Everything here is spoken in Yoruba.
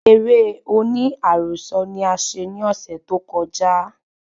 Eré oní àròsọ ni a ṣe ní ọsẹ tó koja